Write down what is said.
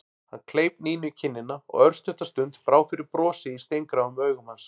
Hann kleip Nínu í kinnina og örstutta stund brá fyrir brosi í steingráum augum hans.